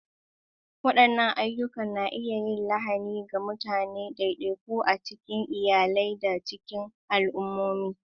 Waɗannan ayyukan na iya yin lahani ga mutane ɗaiɗaiku, a cikin iyalai, da cikin al'ummomi.